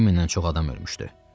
2000-dən çox adam ölmüşdü.